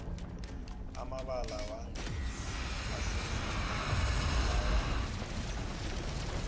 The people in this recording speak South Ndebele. amabala wengwe ahlukile kunalawa wendlovu